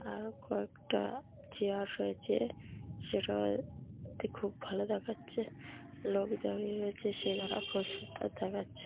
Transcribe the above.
আরো কয়েকটা-আ চেয়ার সয়েছে। সেটা তে খুব ভালো দেখাচ্ছে লোক দাঁড়িয়ে রয়েছে সে দেখাচ্ছে।